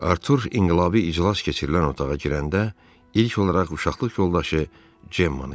Artur inqilabi iclas keçirilən otağa girəndə, ilk olaraq uşaqlıq yoldaşı Cemmanı gördü.